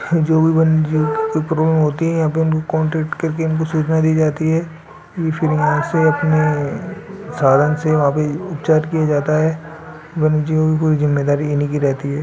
जो भी हैं कान्ट्रैक्ट करके इनको सूचना दी जाती हैं --